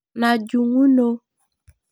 Najunguno.